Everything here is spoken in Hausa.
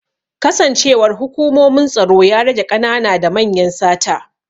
Kasancewar hukumomin tsaro ya rage ƙanana da manyan sata